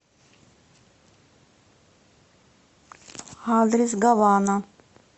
адрес гавана